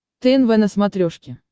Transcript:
тнв на смотрешке